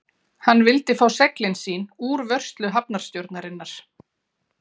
Hann vildi fá seglin sín úr vörslu hafnarstjórnarinnar.